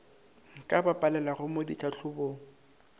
ka ba palelago mo ditlhahlobong